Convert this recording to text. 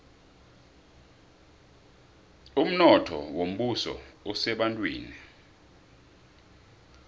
umnotho wombuso usebantwini